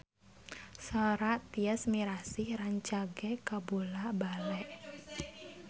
Sora Tyas Mirasih rancage kabula-bale